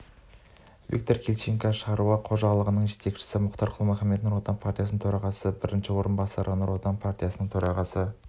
виктор хильниченко шаруа қожалығының жетекшісі мұхтар құл-мұхаммед нұротан партиясы төрағасының бірінші орынбасары нұр отан партиясы төрағасының